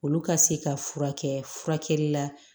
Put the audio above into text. Olu ka se ka furakɛ la